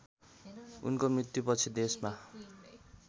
उनको मृत्युपछि देशमा